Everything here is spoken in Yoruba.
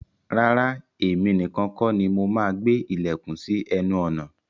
Rárá, èmi nìkan kọ́ ni mo máa gbé ilẹ̀kùn sí ẹnu ọ̀nà.